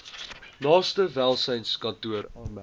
naaste welsynskantoor aanmeld